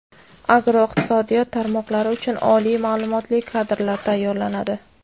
agroiqtisodiyot tarmoqlari uchun oliy ma’lumotli kadrlar tayyorlanadi.